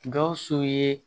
Gawusu ye